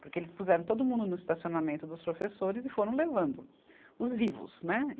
Porque eles puseram todo mundo no estacionamento dos professores e foram levando os vivos, né?